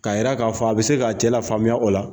Ka yira k' fɔ a bɛ se ka'a cɛ la faamuya o la.